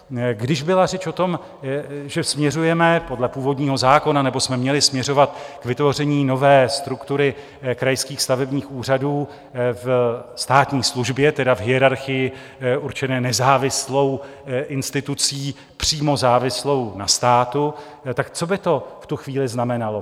Když byla řeč o tom, že směřujeme podle původního zákona, nebo jsme měli směřovat, k vytvoření nové struktury krajských stavebních úřadů ve státní službě, tedy v hierarchii určené nezávislou institucí přímo závislou na státu, tak co by to v tu chvíli znamenalo?